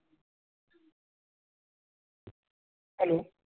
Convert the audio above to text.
hello